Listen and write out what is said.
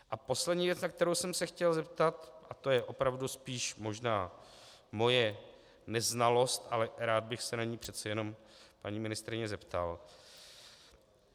A poslední věc, na kterou jsem se chtěl zeptat, a to je opravdu spíš možná moje neznalost, ale rád bych se na ni přece jenom paní ministryně zeptal.